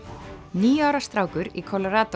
níu ára strákur í